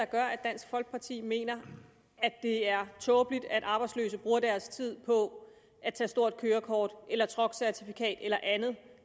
gør at dansk folkeparti mener at det er tåbeligt at arbejdsløse bruger deres tid på at tage stort kørekort eller truckcertifikat eller andet